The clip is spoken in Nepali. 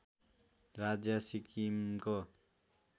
राज्य सिक्किमको